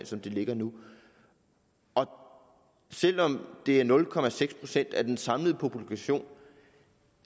som det ligger nu og selv om det er nul procent af den samlede population